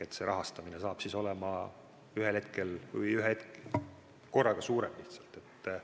See rahastamine saab olema ühe korraga, summa on lihtsalt suurem.